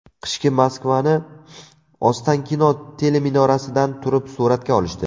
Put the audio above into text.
Qishki Moskvani Ostankino teleminorasidan turib suratga olishdi.